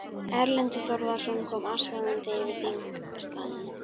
Erlendur Þorvarðarson kom askvaðandi yfir þingstaðinn.